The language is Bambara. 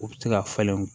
U bɛ se ka falen